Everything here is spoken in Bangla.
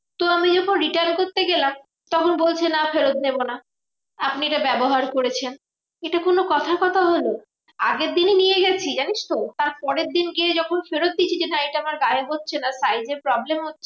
তো আমি যখন return করতে গেলাম তখন বলছে না ফেরৎ নেবো না। আপনি এটা ব্যবহার করেছেন। এটা কোনো কথার কথা হলো? আগের দিনই নিয়ে গেছি জানিসতো? তার পরের দিন গিয়ে যখন ফেরৎ দিচ্ছি যে, না এটা আমার গায়ে হচ্ছে না size এ problem হচ্ছে